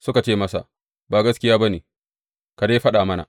Suka ce masa, Ba gaskiya ba ne, ka dai faɗa mana.